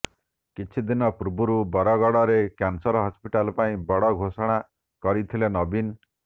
କିଛି ଦିନ ପୂର୍ବରୁ ବରଗଡରେ କ୍ୟାନସର ହସ୍ପିଟାଲ ପାଇଁ ବଡ ଘୋଷଣା କରିଥିଲେ ନବୀନ